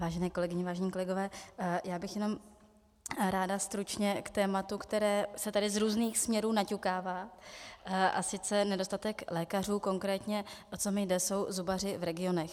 Vážené kolegyně, vážení kolegové, já bych jenom ráda stručně k tématu, které se tady z různých směrů naťukává, a sice nedostatek lékařů, konkrétně o co mi jde, jsou zubaři v regionech.